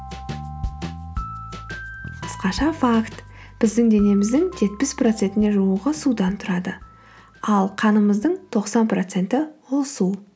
қысқаша факт біздің денеміздің жетпіс процентіне жуығы судан тұрады ал қанымыздың тоқсан проценті ол су